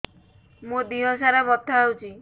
ମୋ ଦିହସାରା ବଥା ହଉଚି